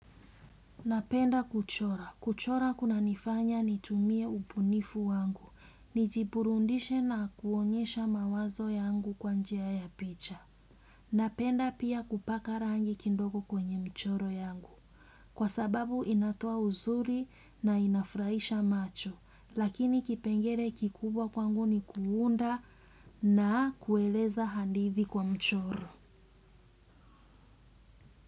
Napenda kuchora. Kuchora kunanifanya nitumie ubunifu wangu. Nijiburudishe na kuonyesha mawazo yangu kwa njia ya picha. Napenda pia kupaka rangi kidogo kwenye mchoro yangu. Kwa sababu inatoa uzuri na inafurahisha macho. Lakini kipengelee kikubwa kwangu ni kuunda na kueleza hadithi kwa mchoro.